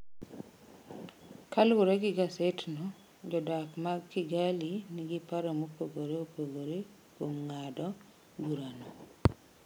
Kaluwore gi gasetno, jodak mag Kigali nigi paro mopogore opogore kuom ng’ado burano.